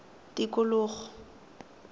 tikologo